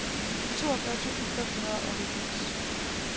toogfyrre tusind fem hundrede og halvfems